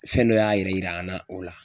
Fɛn dɔ y'a yɛrɛ yira an na o la.